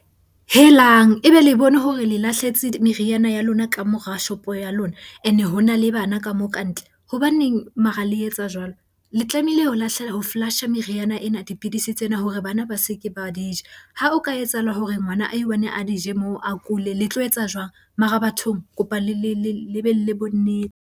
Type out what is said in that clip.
Helang! Ebe le bone hore le lahletse meriana ya lona ka mora shopo ya lona, ene ho na le bana ka moo kantle. Hobaneng mara le etsa jwalo? Le tlamehile ho lahla, ho flush-a meriana ena, dipidisi tsena hore bana ba se ke ba di ja. Ha o ka etsahala hore ngwana a i-one a di je moo, a kule le tlo etsa jwang? Mara bathong, ke kopa le be le bonnete.